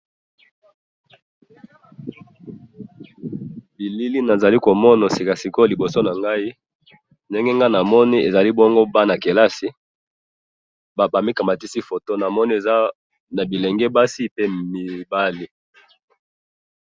Na moni bana kelasi, bilenge basi na mibali.